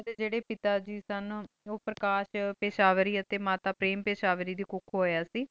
ਏਨਾ ਡੀ ਜੇਰੀ ਪਿਤਾ ਜੀ ਨੀ ਓਪੇਰ੍ਕਾਸ਼ਟ ਪੇਸ਼੍ਵ੍ਰੀ ਟੀਚਾਰ ਨੋ ਦੇ ਬਹਨਾ